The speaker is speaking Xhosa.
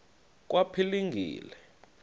kwaphilingile